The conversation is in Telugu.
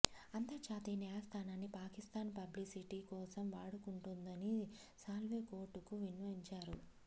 అంతర్జాతీయ న్యాయస్థానాన్ని పాకిస్తాన్ పబ్లిసిటీ కోసం వాడుకుంటోందని సాల్వే కోర్టుకు విన్నవించారు